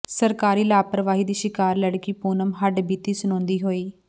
ਸਰਕਾਰੀ ਲਾਪ੍ਰਵਾਹੀ ਦੀ ਸ਼ਿਕਾਰ ਲੜਕੀ ਪੂਨਮ ਹੱਡਬੀਤੀ ਸੁਣਾਉਂਦੀ ਹੋਈ